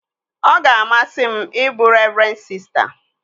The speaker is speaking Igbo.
Ọ ga-amasị m ịbụ revren sista